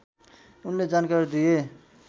उनले जानकारी दिए